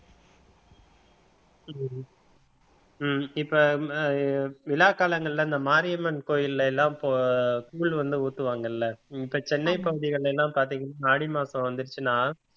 உம் உம் இப்ப அஹ் விழாக் காலங்கள்ல இந்த மாரியம்மன் கோயில்ல எல்லாம் இப்போ கூழ் வந்து ஊத்துவாங்கல்ல இப்ப சென்னை பகுதிகள்ல எல்லாம் பாத்தீங்கன்னா ஆடி மாசம் வந்துருச்சுன்னா